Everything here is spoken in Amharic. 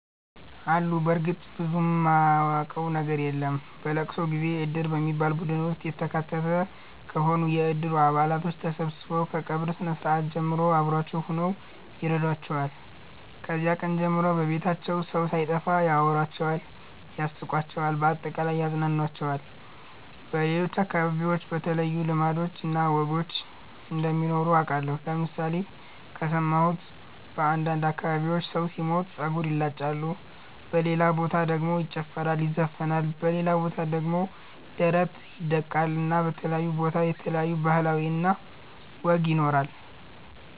አሉ በርግጥ ብዙም ማቀው ነገር የለም። በለቅሶ ጊዜ እድር በሚባል ቡድን ውስጥ የተካተቱ ከሆኑ የእድሩ አባላቶች ተሠብስበው ከቀብር ስርአት ጀምሮ አብሮዋቸው ሁነው ይረዷቸዋል። ከዚያ ቀን ጀምሮ ከቤታቸው ሠው ሣይጠፋ ያወራቸዋል ያስቃቸዋል በአጠቃላይ ያፅናናቸዋል። በሌሎች አከባቢዎች የተለዩ ልማዶች እና ወጎች እንደሚኖሩ አቃለሁ ለምሣሌ ከሠማሁት በአንዳንድ አከባቢዎች ሠው ሢሞት ጸጉር ይላጫሉ በሌላ በታ ደሞ ይጨፈራል ይዘፍናል በሌላ ቦታ ደሞ ደረት ይደቃል እና በተለያየ ቦታ የተለያየ ባህል እና ወግ ይኖራል።